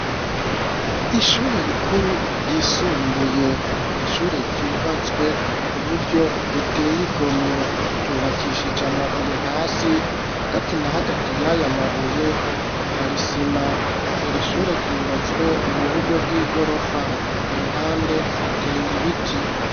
Ishure rikuru ryisumbuye n'ishure ryubatswe ku buryo buteye igomwe, ryubakishije amabuye hasi hagati na hagati y'aya mabuye hari isima, iri ishure ryubatswe mu buryo bw'igorofa, ku ruhande hateye ibiti.